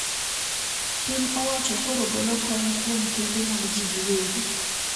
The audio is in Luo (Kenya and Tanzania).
Piny owacho koro golo kony kuom kembe mag jii gi wegi